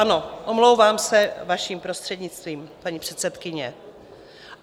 Ano, omlouvám se, vaším prostřednictvím, paní předsedkyně.